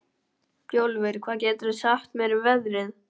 Bjólfur, hvað geturðu sagt mér um veðrið?